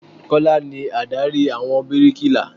Kọ́lá ni Ádárì àwọn bíríkilà.